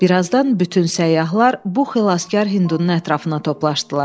Birazdan bütün səyyahlar bu xilaskar Hindunun ətrafına toplasdılar.